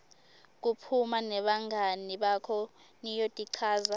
kuphuma nebangani bakho niyotichaza